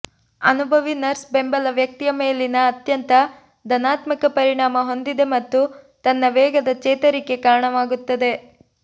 ಅನುಭವಿ ನರ್ಸ್ ಬೆಂಬಲ ವ್ಯಕ್ತಿಯ ಮೇಲಿನ ಅತ್ಯಂತ ಧನಾತ್ಮಕ ಪರಿಣಾಮ ಹೊಂದಿದೆ ಮತ್ತು ತನ್ನ ವೇಗದ ಚೇತರಿಕೆ ಕಾರಣವಾಗುತ್ತದೆ